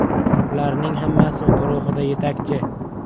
Ularning hammasi guruhida yetakchi.